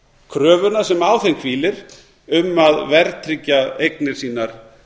kröfuna sem á þeim hvílir um að verðtryggja eignir sínar